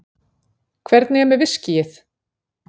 Hvernig er með viskíið?